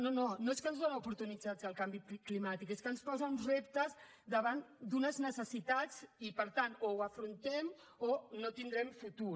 no no no és que ens dóna oportunitats el canvi climàtic és que ens posa uns reptes davant d’unes necessitats i per tant o ho afrontem o no tindrem futur